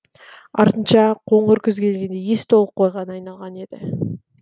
артынша қоңыр күз келгенде ес толық қойға айналған еді